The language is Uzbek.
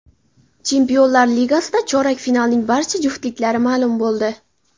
Chempionlar Ligasida chorak finalning barcha juftliklari ma’lum bo‘ldi.